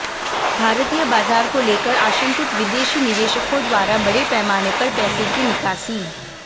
भारतीय बाजार को लेकर आशंकित विदेशी निवेशकों द्वारा बड़े पैमाने पर पैसे की निकासी